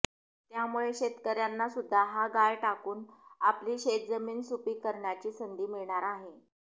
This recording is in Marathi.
त्यामुळे शेतकर्यांनासुद्धा हा गाळ टाकून आपली शेतजमीन सुपीक करण्याची संधी मिळणार आहे